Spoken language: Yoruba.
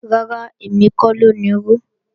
Rárá, èmi kọ́ ló nirú